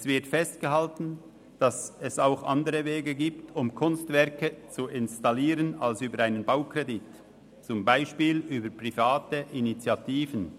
Es wird festgehalten, dass es auch andere Wege gebe, Kunstwerke zu installieren als über einen Baukredit, zum Beispiel über private Initiativen;